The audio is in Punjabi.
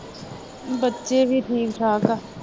ਬੱਚੇ ਵੀ ਠੀਕ ਠਾਕ ਹੈ